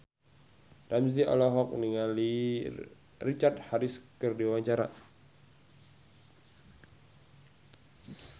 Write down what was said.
Ramzy olohok ningali Richard Harris keur diwawancara